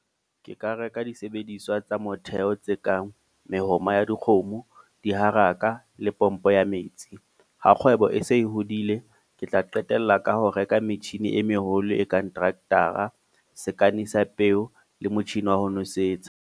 Ke ka reka disebediswa tsa motheo tse kang, mehoma ya dikgomo, diharaka, le pompo ya metsi. Ha kgwebo e se e hodile, ke tla qetella ka ho reka metjhini e meholo e kang , sa peo le motjhini wa ho nosetsa.